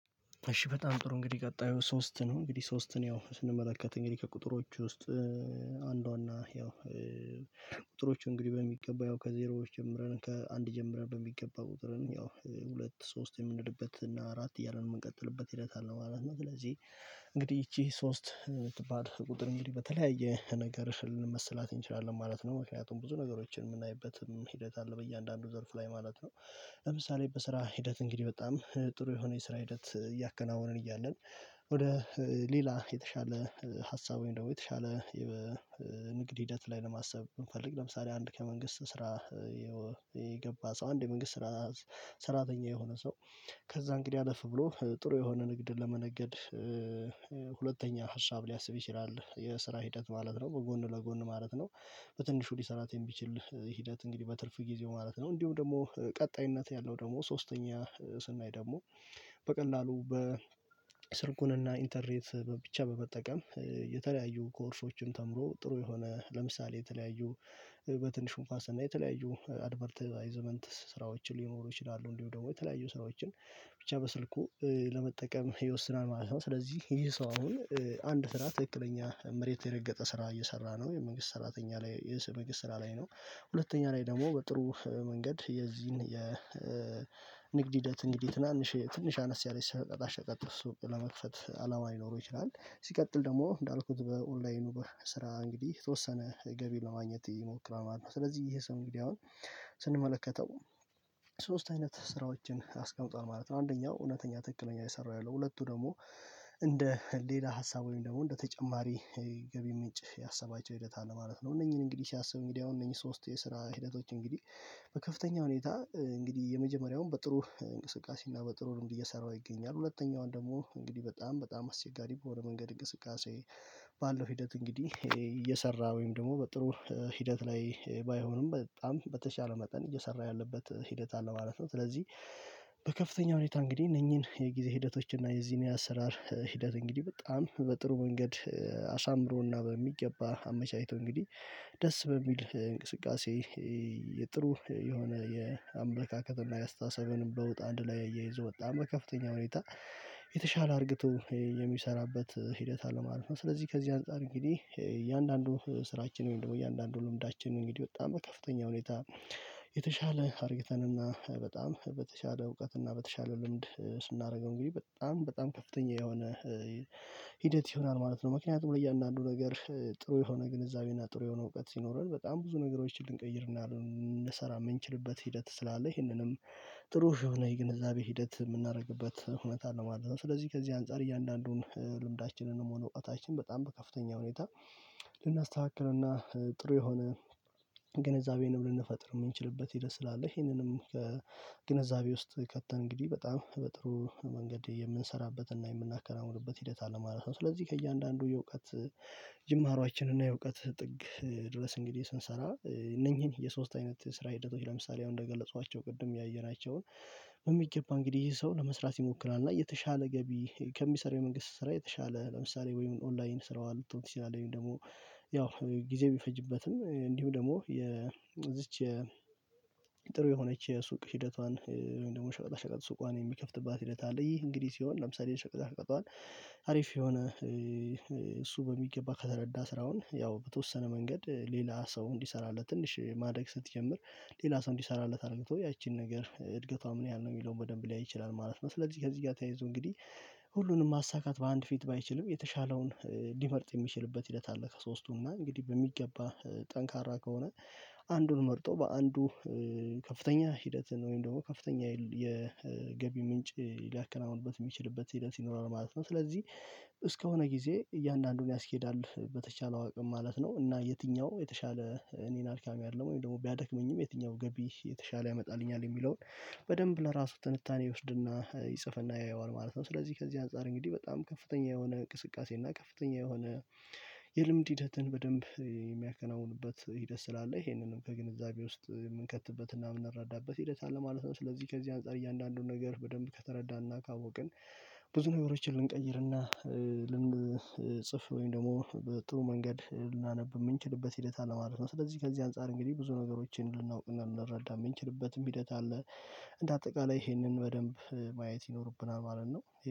እሺ በጣም ጥሩ እንግዲህ ቀጣዩ ሶስት ነው እንግዲህ ሶስትን ያው ስንመለከት እንግዲህ ከቁጥሮቹ ውስጥ አንዷና ያው ቁጥሮች እንግዲህ በሚገባ ያው ከዜሮዎች ጀምረን ከአንድ ጀምረን በሚገባ ቁጥርን ያው ሁለት ሶስት የምንወድበት እና አራት እያለ ነው የምንቀጥልበት ሂደት አለ ማለት ነው። ስለዚህ እንግዲህ ይቺ ሶስት የምትባል ቁጥር እንግዲህ በተለያየ ነገር ልንመስላት እንችላለን ማለት ነው። ምክንያቱም ብዙ ነገሮችን የምናይበትም ሂደት አለ በእያንዳንዱ ዘርፍ ላይ ማለት ነው። ለምሳሌ በስራ ሂደት እንግዲህ በጣም ጥሩ የሆነ የስራ ሂደት እያከናወነን እያለን። ወደ ሌላ የተሻለ ሀሳብ ወይም ደግሞ የተሻለ ንግድ ሂደት ላይ ለማሰብ የምፈልግ ለምሳሌ አንድ ከመንግስት ስራ። የገባ ሰው አንድ የመንግስት ስራ ሰራተኛ የሆነ ሰው ከዛ እንግዲህ አለፍ ብሎ ጥሩ የሆነ ንግድ ለመነገድ ሁለተኛ ሀሳብ ሊያስብ ይችላል የስራ ሂደት ማለት ነው በጎን ለጎን ማለት ነው። በትንሹ ሊሰራት የሚችል ሂደት እንግዲህ በትርፍ ጊዜው ማለት ነው እንዲሁ ደግሞ ቀጣይነት ያለው ደግሞ ሶስተኛ ስናይ ደግሞ በቀላሉ በስልኩንና ኢንተርኔት ብቻ በመጠቀም የተለያዩ ኮርሶችም ተምሮ ጥሩ የሆነ ለምሳሌ የተለያዩ በትንሹም እንኳ ስናይ የተለያዩ አድቨርታይዝመንት ስራዎችን ሊኖሩ ይችላሉ እንዲሁ ደግሞ የተለያዩ ስራዎችን ብቻ በስልኩ ለመጠቀም ይወስናል ማለት ነው። ስለዚህ ይሄ ሰው አሁን አንድ ስራ ትክክለኛ መሬት የረገጠ ስራ እየሰራ ነው የመንግስት ሰራተኛ ላይ የመንግስት ስራ ላይ ነው። ሁለተኛ ላይ ደግሞ በጥሩ መንገድ የዚህን የንግድ ሂደት እንግዲህ ትናንሽ ትንሽ አነስ ያለች ሸቀጣ ሸቀጥ ሱቅ ለመክፈት አላማ ሊኖረው ይችላል። ሲቀጥል ደግሞ እንዳልኩት በኦንላይኑ ስራ እንግዲህ የተወሰነ ገቢ ለማግኘት ይሞክራል ማለት ነው። ስለዚህ ይሄ ሰው እንግዲህ አሁን ስንመለከተው ሶስት አይነት ስራዎችን አስቀምጧል ማለት ነው። አንደኛው እውነተኛ ትክክለኛ እየሰራ ያለው ሁለቱ ደግሞ እንደ ሌላ ሀሳብ ወይም ደግሞ እንደ ተጨማሪ ገቢ ምንጭ ያሰባቸው ሂደት አለ ማለት ነው። እነኚህን እንግዲህ ሲያብ እንግዲህ አሁን እነኚህ ሶስት የስራ ሂደቶች እንግዲህ በከፍተኛ ሁኔታ እንግዲህ የመጀመሪያውን በጥሩ እንቅስቃሴ እና በጥሩ ልምድ እየሰራው ይገኛል። ሁለተኛውን ደግሞ እንግዲህ በጣም በጣም አስቸጋሪ በሆነ መንገድ እንቅስቃሴ ባለው ሂደት እንግዲህ እየሰራ ወይም ደግሞ በጥሩ ሂደት ላይ ባይሆንም በጣም በተሻለ መጠን እየሰራ ያለበት ሂደት አለ ማለት ነው። ስለዚህ በከፍተኛ ሁኔታ እንግዲህ እነኚህን የጊዜ ሂደቶች እና የዚህን የአሰራር ሂደት እንግዲህ በጣም በጥሩ መንገድ አሳምሮና በሚገባ አመቻችቶ እንግዲህ ደስ በሚል እንቅስቃሴ በጥሩ የሆነ የአምላካከት እና የአስተሳሰብን በውጥ አንድ ላይ አያይዞ ወጣ በከፍተኛ ሁኔታ የተሻለ አርግቶ የሚሰራበት ሂደት አለ ማለት ነው። ስለዚህ ከዚህ አንፃር እንግዲህ እያንዳንዱ ስራችን ወይም ደግሞ እያንዳንዱ ልምዳችን እንግዲህ በጣም ከፍተኛ ሁኔታ የተሻለ አርግተንና በጣም በተሻለ እውቀትና በተሻለ ልምድ ስናደርገው እንግዲህ በጣም በጣም ከፍተኛ የሆነ ሂደት ይሆናል ማለት ነው። ምክንያቱም ለእያንዳንዱ ነገር ጥሩ የሆነ ግንዛቤ እና ጥሩ የሆነ እውቀት ሲኖረን በጣም ብዙ ነገሮችን ልንቀይርና ልንሰራ የምንችልበት ሂደት ስላለ ይሄንንም ጥሩ የሆነ የግንዛቤ ሂደት የምናደርግበት እውነት አለ ማለት ነው። ስለዚህ ከዚህ አንፃር እያንዳንዱን ልምዳችንን ነው የምሆነው እውቀታችን በጣም በከፍተኛ ሁኔታ ልናስተካክልና ጥሩ የሆነ ግንዛቤ ልንፈጥር የምንችልበት ሂደት ስላለ ይሄንንም ግንዛቤ ውስጥ ከተን እንግዲህ በጣም በጥሩ መንገድ የምንሰራበትና የምናከናውንበት ሂደት ማለት ነው። ስለዚህ ከእያንዳንዱ የእውቀት ጅማሮአችን እና የእውቀት ጥግ ድረስ እንግዲህ ስንሰራ እነኚህን የሶስት አይነት ስራ ሂደቶች ለምሳሌ አሁን እንደገለጽኳቸው ቅድም ያየናቸውን በሚገባ እንግዲህ ይሄ ሰው ለመስራት ይሞክራል። እና የተሻለ ገቢ ከሚሰራ መንግስት ስራ የተሻለ ለምሳሌ ወይም ኦንላይን ስራዋ ልትሆን ትችላለህ ወይም ደግሞ ያው ጊዜ ቢፈጅበትም እንዲሁም ደግሞ የዚች ጥሩ የሆነች የሱቅ ሂደቷን ወይም ደግሞ ሸቀጣ ሸቀጣ ሱቃን የሚከፍትባት ሂደት አለ። ይህ እንግዲህ ሲሆን ለምሳሌ ሸቀጣ ሸቀጧን አሪፍ የሆነ እሱ በሚገባ ከተረዳ ስራውን ያው በተወሰነ መንገድ ሌላ ሰው እንዲሰራለት ትንሽ ማደግ ስትጀምር ሌላ ሰው እንዲሰራለት አድርግተው ያቺን ነገር እድገቷ ምን ያህል ነው የሚለውን በደንብ ሊያይ ይችላል ማለት ነው። ስለዚህ ከዚህ ጋር ተያይዞ እንግዲህ ሁሉንም ማሳካት በአንድ ፊት ባይችልም የተሻለውን ሊመርጥ የሚችልበት ሂደት አለ። ከሶስቱም እና እንግዲህ በሚገባ ጠንካራ ከሆነ አንዱን መርጦ በአንዱ ከፍተኛ ሂደትን ወይም ደግሞ ከፍተኛ የገቢ ምንጭ ሊያከናውንበት የሚችልበት ሂደት ይኖራል ማለት ነው። ስለዚህ እስከሆነ ጊዜ እያንዳንዱን ያስኬዳል በተቻለው አቅም ማለት ነው እና የትኛው የተሻለ እኔን አድካሚ አይደለም ወይም ደግሞ ቢያደክመኝም የትኛው ገቢ የተሻለ ያመጣልኛል የሚለውን በደንብ ለራሱ ትንታኔ ይወስድና ይጽፍና ያየዋል ማለት ነው። ስለዚህ ከዚህ አንፃር እንግዲህ በጣም ከፍተኛ የሆነ እንቅስቃሴ እና ከፍተኛ የሆነ የልምድ ሂደትን በደንብ የሚያከናውንበት ሂደት ስላለ ይሄንንም ከግንዛቤ ውስጥ የምንከትበትና የምንረዳበት ሂደት አለ ማለት ነው። ስለዚህ ከዚህ አንፃር እያንዳንዱን ነገር በደንብ ከተረዳንና ካወቅን ብዙ ነገሮችን ልንቀይርና ልንጽፍ ወይም ደግሞ በጥሩ መንገድ ልናነብ የምንችልበት ሂደት አለ ማለት ነው። ስለዚህ ከዚህ አንፃር እንግዲህ ብዙ ነገሮችን ልናውቅ ልንረዳ የምንችልበትም ሂደት አለ። እንደ አጠቃላይ ይሄንን በደንብ ማየት ይኖርብናል ማለት ነው